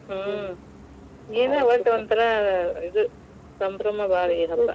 ಹ್ಮ್, ಏನ್ ಒಟ್ಟ್ ಒಂಥರಾ ಇದ್ ಸಂಭ್ರಮಾ ಭಾಳ ಈ ಹಬ್ಬಾ,